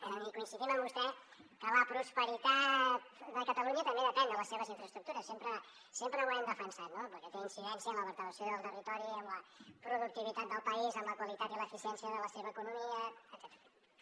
i coincidim amb vostè que la prosperitat de catalunya també depèn de les seves infraestructures sempre ho hem defensat perquè té incidència en la vertebració del territori en la productivitat del país en la qualitat i l’eficiència de la seva economia etcètera